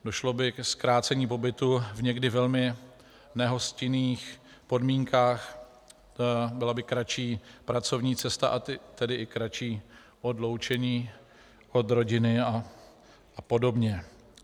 Došlo by ke zkrácení pobytu v někdy velmi nehostinných podmínkách, byla by kratší pracovní cesta, a tedy i kratší odloučení od rodiny a podobně.